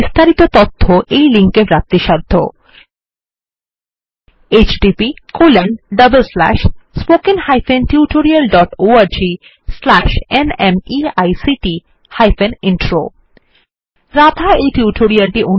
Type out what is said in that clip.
একই উপর আরো তথ্য নিম্নলিখিত লিঙ্ক httpspoken tutorialorgNMEICT Intro এ পাওয়া যায়